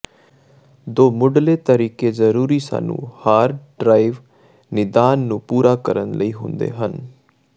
ਦੋ ਮੁੱਢਲੇ ਤਰੀਕੇ ਜ਼ਰੂਰੀ ਸਾਨੂੰ ਹਾਰਡ ਡਰਾਈਵ ਨਿਦਾਨ ਨੂੰ ਪੂਰਾ ਕਰਨ ਲਈ ਹੁੰਦੇ ਹਨ